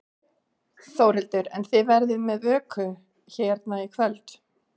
Þórhildur: En þið verðið með vöku hérna í kvöld?